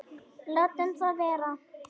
Látum það vera.